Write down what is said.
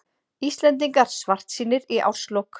Íslendingar svartsýnir í árslok